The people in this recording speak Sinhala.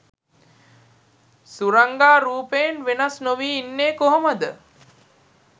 සුරංගා රූපයෙන් වෙනස් නොවී ඉන්නේ කොහොමද?